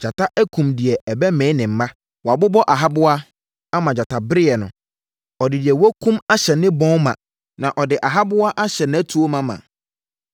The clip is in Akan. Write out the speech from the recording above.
Gyata akum deɛ ɛbɛmee ne mma. Wabobɔ ahaboa ama gyatabereɛ no. Ɔde deɛ wakum ahyɛ ne bɔn ma na ɔde ahaboa ahyɛ nʼatuo mama.